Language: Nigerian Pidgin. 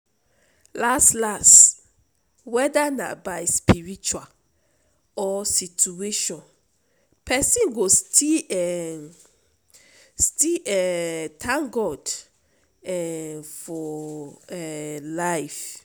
las las weda na by spiritual or situation pesin go still um still um tank god um for um lyf